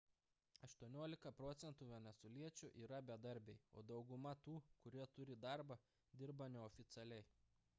18 procentų venesueliečių yra bedarbiai o daugumą tų kurie turi darbą dirba neoficialiai